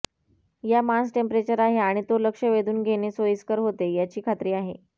या मांस टेम्परेचर आहे आणि तो लक्ष वेधून घेणे सोयीस्कर होते याची खात्री आहे